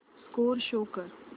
score show कर